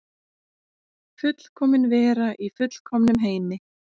Fullkomin vera í fullkomnum heimi.